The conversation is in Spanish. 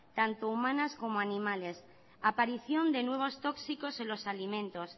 tanto humanas como animales aparición de nuevos tóxicos en los alimentos